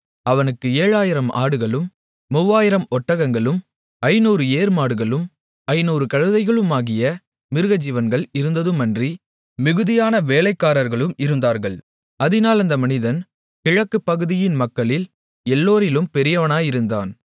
அவனுக்கு 7000 ஆடுகளும் 3000 ஒட்டகங்களும் 500 ஏர்மாடுகளும் 500 கழுதைகளுமாகிய மிருகஜீவன்கள் இருந்ததுமன்றி மிகுதியான வேலைக்காரர்களும் இருந்தார்கள் அதினால் அந்த மனிதன் கிழக்குப்பகுதியின் மக்களில் எல்லாரிலும் பெரியவனாயிருந்தான்